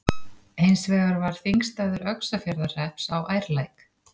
Hins vegar var þingstaður Öxarfjarðarhrepps á Ærlæk.